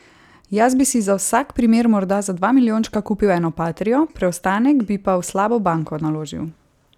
Jaz bi si za vsak primer morda za dva milijončka kupil eno patrio, preostanek bi pa v slabo banko naložil.